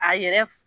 A yɛrɛ f